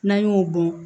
N'an y'o bɔn